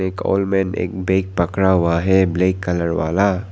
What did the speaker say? एक old man एक bag पकड़ा हुआ है ब्लैक कलर वाला।